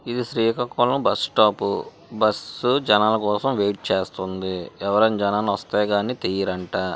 ఇది Srikakulam bus stop bus జనాల కోసం వెయిట్ చేస్తుంది ఎవరైనా జనాలు వస్తే గాని తీయరంట.